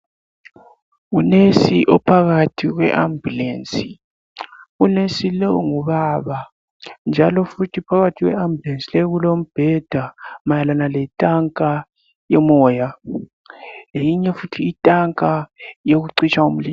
Unesi ophakathi kwe- ambulensi. Unesi lo ngubaba, njalo futhi phakathi kwe- ambulensi leyi kulombheda. Mayelane letanka yomoya. Leyinye futhi itanka, yokucitsha umlilo.